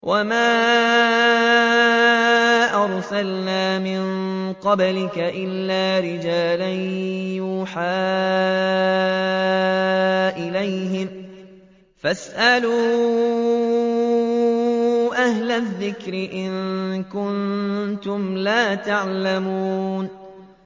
وَمَا أَرْسَلْنَا مِن قَبْلِكَ إِلَّا رِجَالًا نُّوحِي إِلَيْهِمْ ۚ فَاسْأَلُوا أَهْلَ الذِّكْرِ إِن كُنتُمْ لَا تَعْلَمُونَ